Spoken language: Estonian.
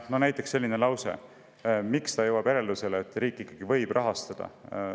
Näiteks lause selle kohta, miks ta jõuab järeldusele, et riik ikkagi võib rahastada.